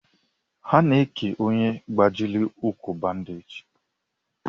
Ana eke ọnye gbajiri ụkwụ bandage.